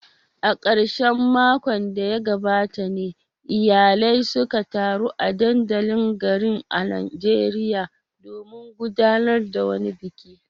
A karshen makon da ya gabata ne iyalai suka taru a dandalin garin a Najeriya domin gudanar da wani biki.